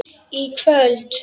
í kvöld.